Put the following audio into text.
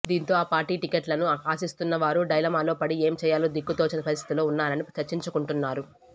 దీంతో ఆ పార్టీ టికెట్లను ఆశిస్తున్న వారు డైలమాలో పడి ఏం చేయాలో దిక్కు తోచని పరిస్థితుల్లో ఉన్నారని చర్చించుకుంటున్నారు